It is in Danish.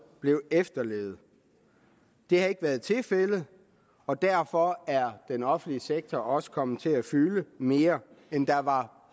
blev efterlevet det har ikke været tilfældet og derfor er den offentlige sektor også kommet til at fylde mere end der var